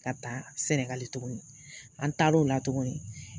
Ka taa sɛnɛgali tuguni an taar'o la tuguni